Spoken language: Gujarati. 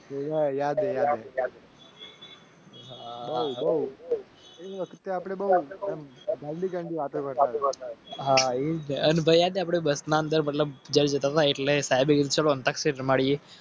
યાદ એટલે સાહેબ